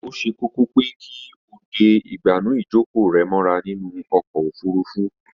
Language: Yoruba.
Ó ṣe kókó pé kí o de ìgbànú ìjókòó rẹ mọ́ra nínú ọkọ̀ ofurufú